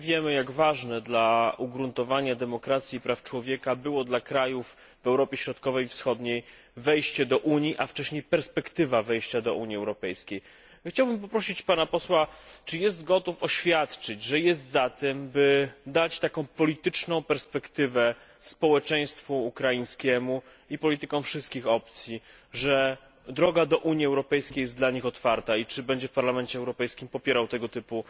Wszyscy wiemy, jak ważne dla ugruntowania demokracji i praw człowieka było dla krajów w Europie Środkowej i Wschodniej wejście do Unii, a wcześniej perspektywa wejścia do niej. Chciałbym zapytać Pana Posła, czy jest gotów oświadczyć, że jest za tym, by dać taką polityczną perspektywę społeczeństwu ukraińskiemu i politykom wszystkich opcji, że droga do Unii Europejskiej jest dla nich otwarta i czy będzie w Parlamencie Europejskim popierał tego typu